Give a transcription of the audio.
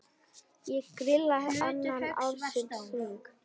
Ég grilla allan ársins hring.